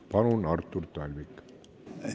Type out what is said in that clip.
Palun, Artur Talvik!